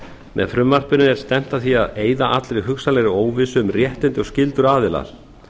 með frumvarpinu er stefnt að því að eyða allri hugsanlegri óvissu um réttindi og skyldur aðila